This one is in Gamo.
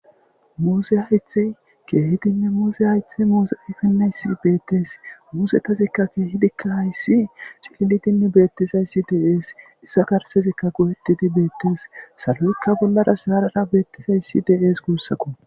Muse haythey keehidinne muuse haythey muuse ayfineyssi beettes muuzetazikka keehidikka hayssi cillidinne beettizayssi deees iza karsezikka go'ettidi beettes saloyykka bollara saarara beettizayssi deees guussakko.